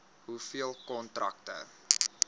hoeveel kontrakte